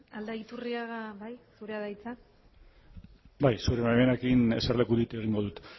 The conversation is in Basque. aldaiturriaga bai zurea da hitza bai zure baimenarekin eserlekutik egingo dut